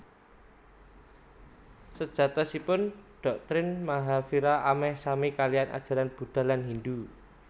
Sejatosipun doktrin Mahavira ameh sami kaliyan ajaran Budha lan Hindu